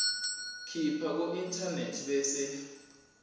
khipha kuinternet bese